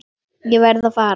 Ég verð að fara.